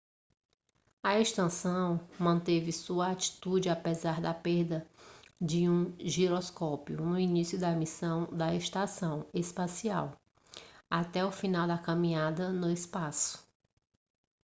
a estação manteve sua atitude apesar da perda de um giroscópio no início da missão da estação espacial até o final da caminhada no espaço